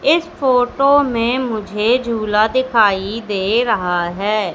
इस फोटो में मुझे झूला दिखाई दे रहा है।